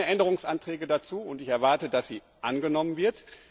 Es gibt keine Änderungsanträge dazu, und ich erwarte, dass sie angenommen wird.